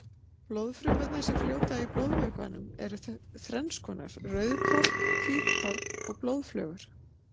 Blóðfrumurnar sem fljóta í blóðvökvanum eru þrennskonar, rauðkorn, hvítkorn og blóðflögur.